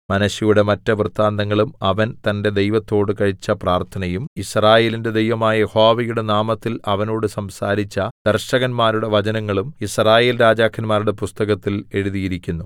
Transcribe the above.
മനശ്ശെയുടെ മറ്റ് വൃത്താന്തങ്ങളും അവൻ തന്റെ ദൈവത്തോട് കഴിച്ച പ്രാർത്ഥനയും യിസ്രായേലിന്റെ ദൈവമായ യഹോവയുടെ നാമത്തിൽ അവനോട് സംസാരിച്ച ദർശകന്മാരുടെ വചനങ്ങളും യിസ്രായേൽ രാജാക്കന്മാരുടെ പുസ്തകത്തിൽ എഴുതിയിരിക്കുന്നു